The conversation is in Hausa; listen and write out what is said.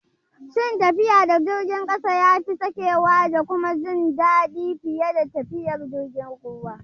Shin tafiya da jirgin ƙasa yafi sakewa da kuma jin daɗi fiye da tafiyar jirgin ruwa?